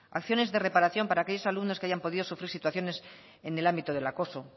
acciones de reparación para aquellos alumnos que hayan podido sufrir situaciones en el ámbito del acoso